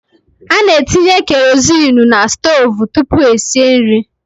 Ana etinye kerozinu n'stoovu tụpụ esie nri.